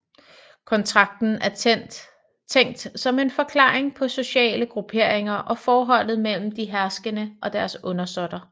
Kontrakten er tænkt som en forklaring på sociale grupperinger og forholdet mellem de herskende og deres undersåtter